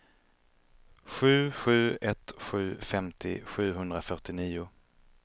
sju sju ett sju femtio sjuhundrafyrtionio